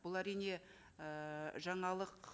бұл әрине ііі жаңалық